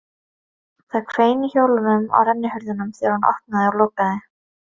Það hvein í hjólunum á rennihurðunum þegar hún opnaði og lokaði